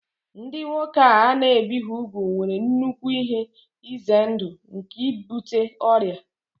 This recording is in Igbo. Ndị nwoke a na-ebighị úgwù nwere nnukwu ihe ize ndụ nke ibute ọrịa